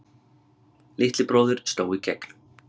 Litli bróðir sló í gegn